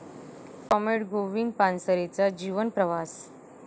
comrade Govind पानसरेंचा जीवनप्रवास...